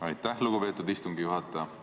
Aitäh, lugupeetud istungi juhataja!